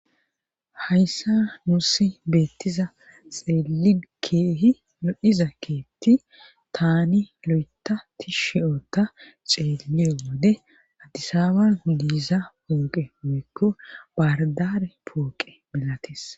Hayssa nuusi beettiza xeeli keehi yodhiza keetti taani lo7etati shiyoota ceeliyo wode addisawan diiza pooqe meekko bardare pooqe milatis